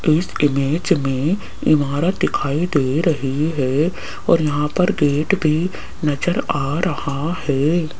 इस इमेज में इमारत दिखाई दे रही है और यहां पर गेट भी नजर आ रहा है।